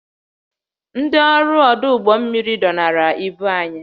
Ndị ọrụ ọdụ ụgbọ mmiri dọnara ibu anyị